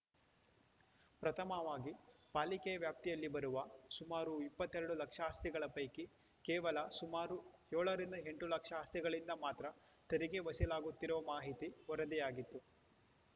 ಪ್ರಥಮವಾಗಿ ಪಾಲಿಕೆಯ ವ್ಯಾಪ್ತಿಯಲ್ಲಿ ಬರುವ ಸುಮಾರು ಇಪ್ಪತ್ತೆರಡು ಲಕ್ಷ ಅಸ್ತಿಗಳ ಪೈಕಿ ಕೇವಲ ಸುಮಾರು ಏಳರಿಂದ ಎಂಟು ಲಕ್ಷ ಆಸ್ತಿಗಳಿಂದ ಮಾತ್ರ ತೆರಿಗೆ ವಸೂಲಾಗುತ್ತಿರುವ ಮಾಹಿತಿ ವರದಿಯಾಗಿತ್ತು